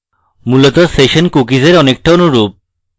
মূলত session cookies অনেকটা অনুরূপ